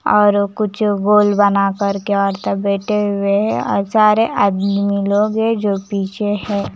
और कुछ गोल बना कर के औरत बैठे हुए और सारे आदमी लोग है जो पीछे हैं ।